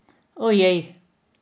Ojej!